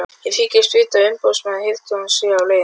Ég þykist vita að umboðsmaður hirðstjórans sé á leiðinni.